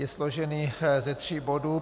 Je složen ze tří bodů.